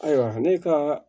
Ayiwa ne ka